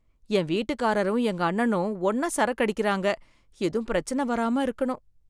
என் வீட்டுக்காரரும் எங்க அண்ணனும் ஒன்னா சரக்கு அடிக்கறாங்க எதும் பிரச்சன வராம இருக்கணும்.